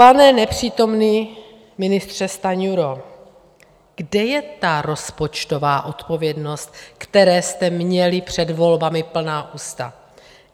Pane nepřítomný ministře Stanjuro, kde je ta rozpočtová odpovědnost, které jste měli před volbami plná ústa?